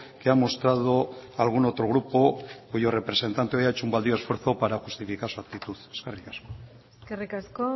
que ha mostrado algún otro grupo cuyo representante ha hecho un baldío esfuerzo para justificar su actitud eskerri asko eskerrik asko